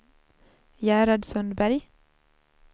Gerhard Sundberg